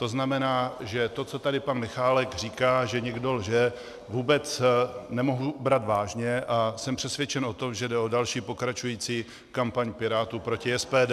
To znamená, že to, co tady pan Michálek říká, že někdo lže, vůbec nemohu brát vážně, a jsem přesvědčen o tom, že jde o další pokračující kampaň Pirátů proti SPD.